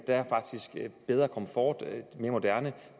der faktisk er bedre komfort den er mere moderne